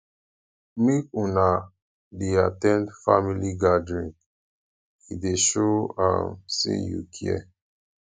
um make una dey at ten d family gathering e dey show um sey you care